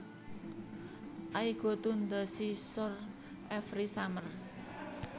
I go to the seashore every summer